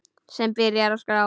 Hann byrjar að skrá.